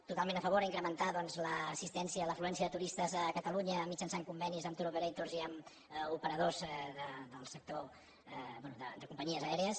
totalment a favor d’incrementar doncs l’assistència l’afluència de turistes a catalunya mitjançant convenis amb tour operatorssector bé de companyies aèries